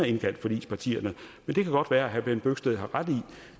indkaldt forligspartierne men det kan godt være at herre bent bøgsted har ret i